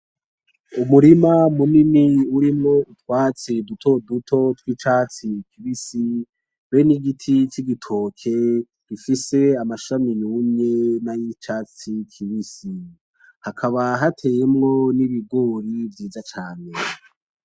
Umurima munini urimwo utwatsi dutoduto tw'icatsi kibisi be n'igiti c'igitoke gifise amashami yumye nay'icatsi kibisi, hakaba hateyemwo n'ibigori vyiza cane.